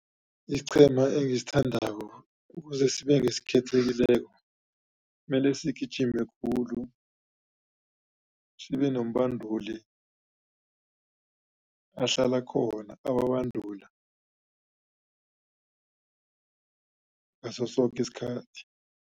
Isiqhema engisithandako ukuze sibe ngesikhethekileko mele sigijime khulu sibenombanduli ahlala khona ababandula ngaso soke isikhathi.